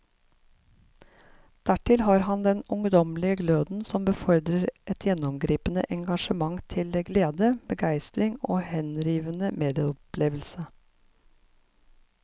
Dertil har han den ungdommelige gløden som befordrer et gjennomgripende engasjement til glede, begeistring og henrivende medopplevelse.